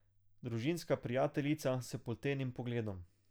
Družinska prijateljica s poltenim pogledom.